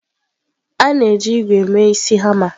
A na-eji ígwè mee isi hama.